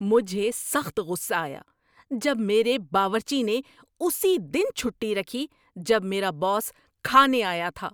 مجھے سخت غصہ آیا جب میرے باورچی نے اسی دن چھٹی رکھی جب میرا باس کھانے آیا تھا۔